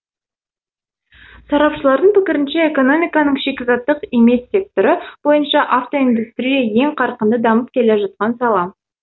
сарапшылардың пікірінше экономиканың шикізаттық емес секторы бойынша автоиндустрия ең қарқынды дамып келе жатқан сала